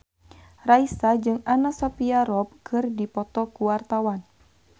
Raisa jeung Anna Sophia Robb keur dipoto ku wartawan